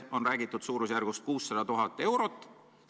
On räägitud suurusjärgust 600 000 eurot.